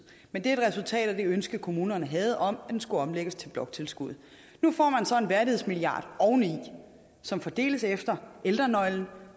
men det er et resultat af det ønske kommunerne havde om at det skulle omlægges til bloktilskuddet nu får man så en værdighedsmilliard oveni som fordeles efter ældrenøglen